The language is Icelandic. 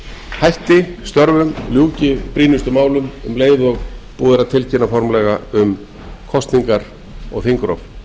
hætti störfum ljúki brýnustu málum um leið og búið er að tilkynna formlega um kosningar og þingrof